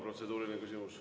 Protseduuriline küsimus.